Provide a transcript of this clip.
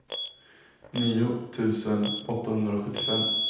nio tusen åttahundrasjuttiofem